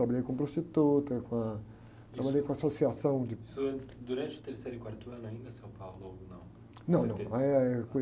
Trabalhei com prostituta, com a, trabalhei com associação de...sso antes, durante o terceiro e quarto ano ainda, seu? Ou não?ão, não, aí é...